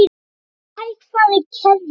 Þetta er hægfara gerjun.